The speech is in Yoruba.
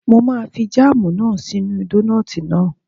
Mo máa fi jáàmù náà sí inú dónààtì náà